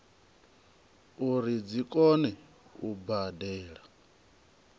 uri dzi kone u badela